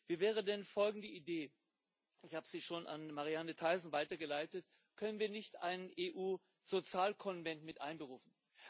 Wie wäre denn folgende Idee ich habe sie schon an Marianne Thyssen weitergeleitet Können wir nicht einen EU Sozialkonvent einberufen?